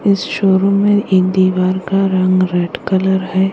इस शोरूम में ये दिवाल का रंग रेड कलर है।